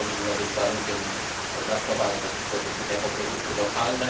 To powinno być warunkiem traktowania takich produktów jako produkty lokalne.